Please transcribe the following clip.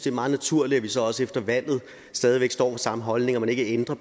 er meget naturligt at vi så også efter valget stadig står samme holdninger og ikke ændrer